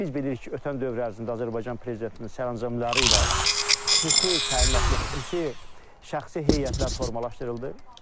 Biz bilirik ki, ötən dövr ərzində Azərbaycan prezidentinin sərəncamları ilə xüsusi təyinatlı, xüsusi şəxsi heyətlər formalaşdırıldı.